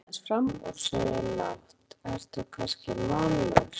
Ragnheiður hallar sér aðeins fram og segir lágt, ertu kannski mállaus?